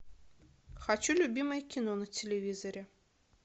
хочу любимое кино на телевизоре